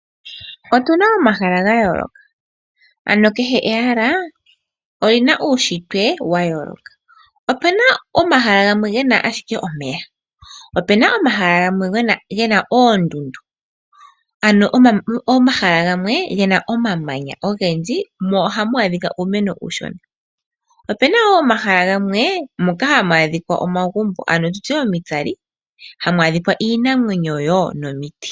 Otuna omahala ga yooloka, ano kehe ehala, olina uushitwe wa yooloka. Opuna omahala gamwe gena ashike omeya. Opuna omahala gamwe gena oondundu, ano omahala gamwe gena omamanya ogendji, mo ohamu adhika uumeno uushona. Opuna wo omahala gamwe mono hamu adhika omagumbo, iinamwenyo nomiti.